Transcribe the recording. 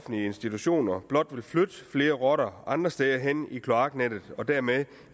offentlige institutioner blot vil flytte flere rotter andre steder hen i kloaknettet og dermed